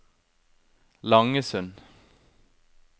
Langesund